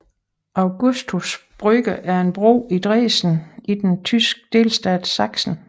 Augustusbrücke er en bro i Dresden i den tyske delstat Sachsen